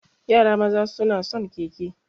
Yara maza suna son keke.